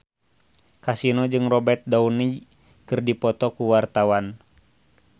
Kasino jeung Robert Downey keur dipoto ku wartawan